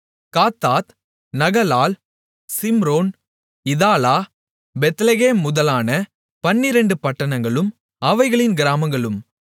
Kattath Nahalal Shimron Idalah Bethlehem முதலான பன்னிரண்டு பட்டணங்களும் அவைகளின் கிராமங்களும்